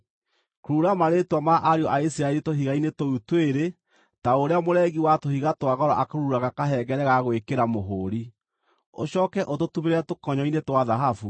Kurura marĩĩtwa ma ariũ a Isiraeli tũhiga-inĩ tũu twĩrĩ ta ũrĩa mũrengi wa tũhiga twa goro akururaga kahengere ga gwĩkĩra mũhũũri. Ũcooke ũtũtumĩrĩre tũkonyo-inĩ twa thahabu,